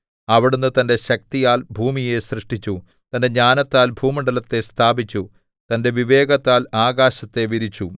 അവിടുന്ന് തന്റെ ശക്തിയാൽ ഭൂമിയെ സൃഷ്ടിച്ചു തന്റെ ജ്ഞാനത്താൽ ഭൂമണ്ഡലത്തെ സ്ഥാപിച്ചു തന്റെ വിവേകത്താൽ ആകാശത്തെ വിരിച്ചു